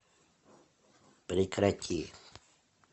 прекрати